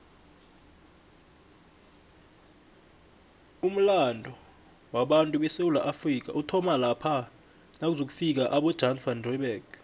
umulando wabatu besewula afrika uthoma lapha nakuzofika abojan van reebeck